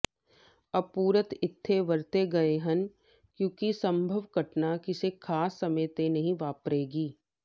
ਅਪੂਰਤ ਇੱਥੇ ਵਰਤੇ ਗਏ ਹਨ ਕਿਉਂਕਿ ਸੰਭਵ ਘਟਨਾ ਕਿਸੇ ਖਾਸ ਸਮੇਂ ਤੇ ਨਹੀਂ ਵਾਪਰੀਗੀ